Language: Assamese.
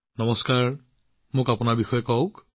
মোদী জীঃ আপোনাৰ কথা কওকচোন